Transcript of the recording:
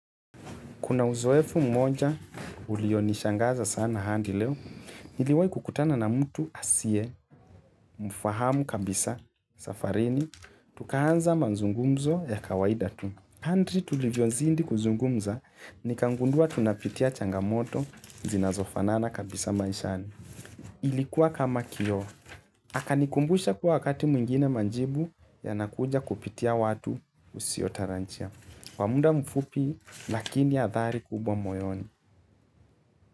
Kuna uzoefu mmoja ulio nishangaza sana hadi leo, niliwahi kukutana na mtu asiye, mfahamu kabisa, safarini, tukaanza manzungumzo ya kawaida tu. Kadri tulivyo zidi kuzungumza, nikagundua tunapitia changamoto zinazofanana kabisa maishani. Ilikuwa kama kioo, akanikumbusha kuwa wakati mwingine majibu yanakuja kupitia watu usiotarajia. Kwa muda mfupi, lakini ya hadhari kubwa moyoni.